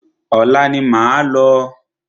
Ọ̀la ni máa lọ.